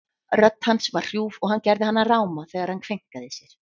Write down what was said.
Rödd hans var hrjúf og hann gerði hana ráma þegar hann kveinkaði sér.